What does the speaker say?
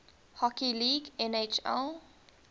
hockey league nhl